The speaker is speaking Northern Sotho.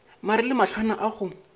mare le mahlwana a go